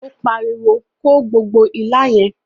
O pariwo, "Ko gbogbo ilá yẹn!"